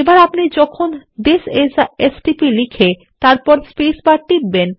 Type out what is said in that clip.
এখন আপনি যখনি থিস আইএস a stpলিখে তারপর স্পেসবার টিপবেন